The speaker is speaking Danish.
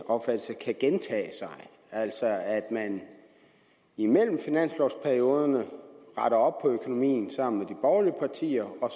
opfattelse kan gentage sig altså at man imellem finanslovperioderne retter op på økonomien sammen med de borgerlige partier